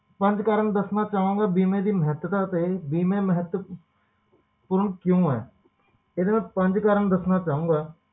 ਪੰਜ ਕਾਰਣ ਦੱਸਣਾ ਚਾਹੁੰਗਾ ਬੀਮੇ ਦੀ ਮਹੱਤਤਾ ਤੇ ਬੀਮੇ ਮਹੱਤਵ ਪੂਰਨ ਕਿਉਂ ਆ ਇਹਦੇ ਪੰਜ ਕਾਰਣ ਦੱਸਣਾ ਚਾਹੁੰਗਾ